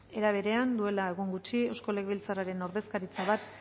era berean duela egun gutxi eusko legebiltzarren ordezkaritza bat